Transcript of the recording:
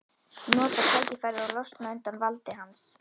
Nota tækifærið og losna undan valdi hans.